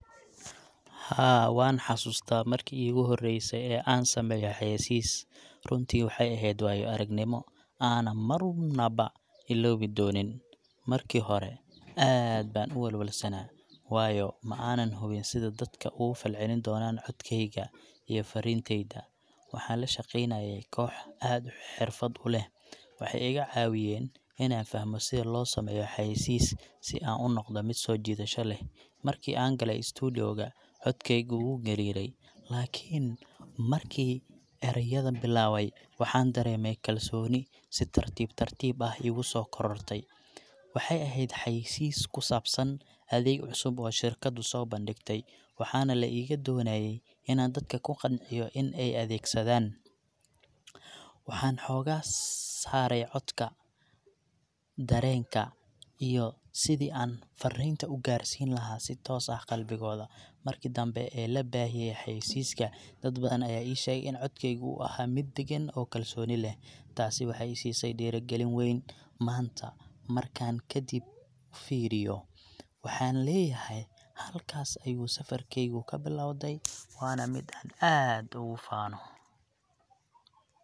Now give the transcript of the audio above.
Haa, waan xasuustaa markii iigu horreysay ee aan sameeyo xayaysiis. Runtii waxay ahayd waayo aragnimo aanan marnaba iloobi doonin. Markii hore aad baan u walwalsanaa, waayo ma aanan hubin sida dadku uga falcelin doonaan codkayga iyo fariintayda. Waxaan la shaqeynayay koox aad xirfad leh, waxay iga caawiyeen inaan fahmo sida loo sameeyo xayaysiis si aan u noqdo mid soo jiidasho leh. Markii aan galay studio ga, codkaygu wuu gariirayay laakiin markii erayada bilaabay, waxaan dareemay kalsooni si tartiib tartiib ah iigu soo korortay. Waxay ahayd xayaysiis ku saabsan adeeg cusub oo shirkaddu soo bandhigtay, waxaana la iga doonayay inaan dadka ku qanciyo in ay adeegsadaan. Waxaan xooga saaray codka, dareenka, iyo sidii aan fariinta u gaarsiin lahaa si toos ah qalbigooda. Markii dambe ee la baahiyay xayaysiiska, dad badan ayaa ii sheegay in codkaygu uu ahaa mid deggan oo kalsooni leh. Taasi waxay i siisay dhiirigelin weyn. Maanta markaan kadib fiiriyo, waxaan leeyahay halkaas ayuu safarkaygu ka bilowday, waana mid aan aad ugu faano.